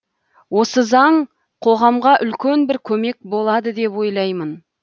осы заң қоғамға үлкен бір көмек болады деп ойлаймын